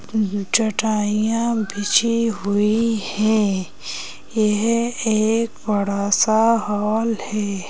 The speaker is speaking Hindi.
चौटाइयां बिजी हुई है यह एक बड़ा सा हॉल है।